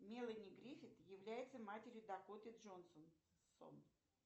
мелани гриффит является матерью дакоты джонсон